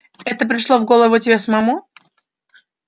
это пришло в голову тебе самому